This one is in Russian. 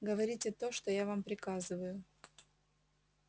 говорите то что я вам приказываю